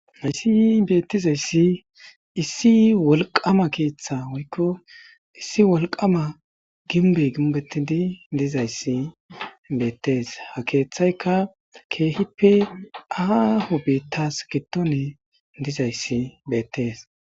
Hayssi bettizayssi issi wolqama keththa woyko issi wolqama ginbey ginbetidi dizayssi bettess ha keththayka aaho dembas giidon dizayssi bettess.